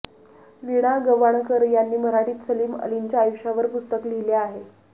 वीणा गवाणकर यांनी मराठीत सलीम अलींच्या आयुष्यावर पुस्तक लिहिले आहे